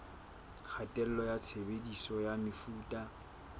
kgatello ya tshebediso ya mefuta